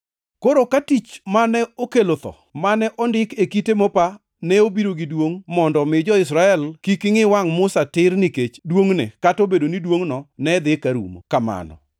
Koro ka tich mane okelo tho, mane ondike kite mopa, ne obiro gi duongʼ mondo omi jo-Israel kik ngʼi wangʼ Musa tir nikech duongʼne kata obedo ni duongʼno ne dhi ka rumo kamano.